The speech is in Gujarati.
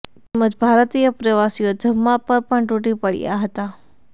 તેમજ ભારતીય પ્રવાસીઓ જમવા પર પણ તૂટી પડ્યા હતા